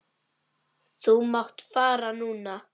Þú mátt fara núna.